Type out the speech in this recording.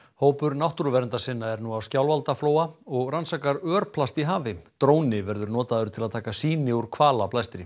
hópur náttúruverndarsinna er nú á Skjálfandaflóa og rannsakar örplast í hafi dróni verður notaður til að taka sýni úr